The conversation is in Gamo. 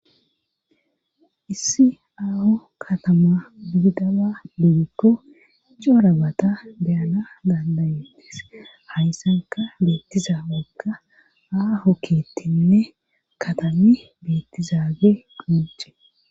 issi aaho katama duddaba digikko icorabata deyana dandayettes hayssanka beettiza wokka aaho kiettinne katami beettizaage qonce